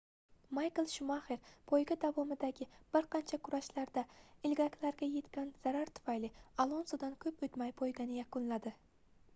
maykl shumaxer poyga davomidagi bir qancha kurashlarda ilgaklarga yetgan zarar tufayli alonsodan koʻp oʻtmay poygani yakunladi